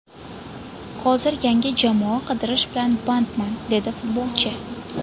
Hozir yangi jamoa qidirish bilan bandman”, dedi futbolchi.